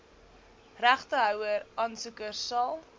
regtehouer aansoekers sal